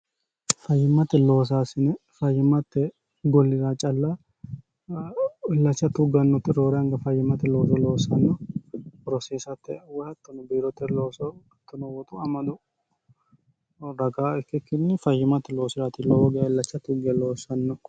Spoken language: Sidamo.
fayyimate loosaasine fayyimatte gollira calla illacha tuggannotti roore anga fayimate looso loosanno rosiisatte woy hattono biirote looso hattono wolootu amadu daga ikkikkinni fayyimate loosi'rati loowo illacha tugge loossanno